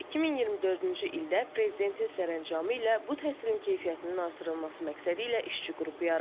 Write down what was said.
2024-cü ildə Prezidentin sərəncamı ilə bu təhsilin keyfiyyətinin artırılması məqsədilə işçi qrupu yaradılıb.